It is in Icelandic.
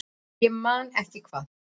Ég man ekki hvað